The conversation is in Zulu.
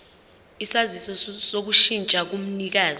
isaziso sokushintsha komnikazi